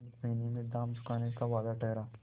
एक महीने में दाम चुकाने का वादा ठहरा